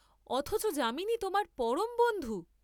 অথচ যামিনী তোমার পরম বন্ধু?